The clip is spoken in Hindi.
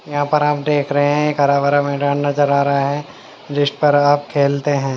यहाँ पर आप देख रहे हैं एक हरा भरा मैदान नजर आ रहा है जिस पर आप खेलते हैं।